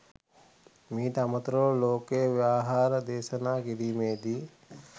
මීට අමතරව ලෝක ව්‍යවහාරය දේශනා කිරීමේදී